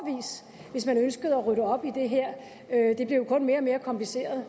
hvis man ønskede at rydde op i det her det blev kun mere og mere kompliceret